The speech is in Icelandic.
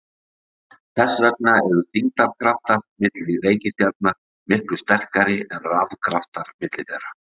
Þess vegna eru þyngdarkraftar milli reikistjarna miklu sterkari en rafkraftar milli þeirra.